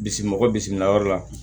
Bisimi mɔgɔ bisimilayɔrɔ la